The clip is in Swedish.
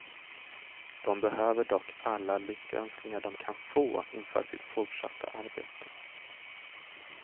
De behöver dock alla lyckönskningar de kan få inför sitt fortsatta arbete.